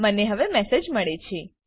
મને હવે મેસેજ મળે છે